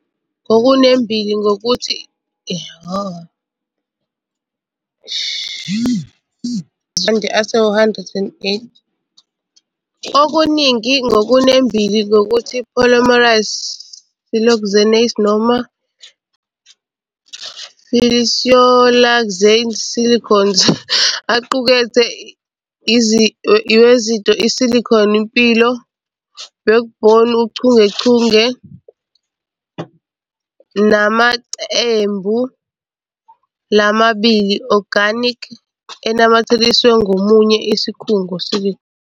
Okuningi ngokunembile ngokuthi polymerized siloxanes noma polysiloxanes, silicones aqukethe i wezinto Silicon--mpilo backbone uchungechunge nemacembu lamabili organic enamathiselwe ngamunye isikhungo.